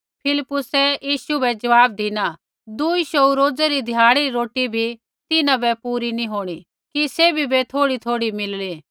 फिलिप्पुसै यीशु बै ज़वाब धिना दुई शौऊ रोजै़ री ध्याड़ी री रोटी भी तिन्हां बै पूरी नैंई होंणी कि सैभी बै थोड़ीथोड़ी मिलली